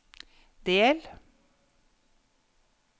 del